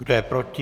Kdo je proti?